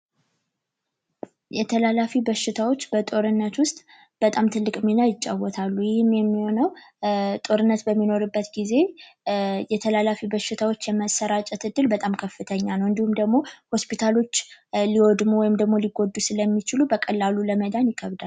የተላላፊ በሽታዎች በጦርነት ውስጥ በጣም ትልቅ ሚና ይጫወታሉ። ይይህም የሚሆነው ጦርነት በሚኖርበት ጊዜ የተላላፊ በሽታዎች ስርጭት በጣም ከፍተኛ ነው። እንዲሁም ደግሞ ሆስፒታሎች ሊወድሙ ወይም ሊጠፉ ስለሚችሉ በቀላሉ ለመዳን ይከብዳል።